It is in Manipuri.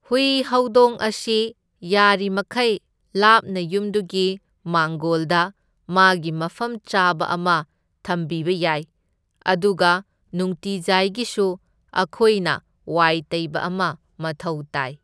ꯍꯨꯏ ꯍꯧꯗꯣꯡ ꯑꯁꯤ ꯌꯥꯔꯤꯃꯈꯩ ꯂꯥꯞꯅ ꯌꯨꯝꯗꯨꯒꯤ ꯃꯥꯡꯒꯣꯜꯗ ꯃꯥꯒꯤ ꯃꯐꯝ ꯆꯥꯕ ꯑꯃ ꯊꯝꯕꯤꯕ ꯌꯥꯏ, ꯑꯗꯨꯒ ꯅꯨꯡꯇꯤꯖꯥꯢꯒꯤꯁꯨ ꯑꯈꯣꯏꯅ ꯋꯥꯏ ꯇꯩꯕ ꯑꯃ ꯃꯊꯧ ꯇꯥꯏ꯫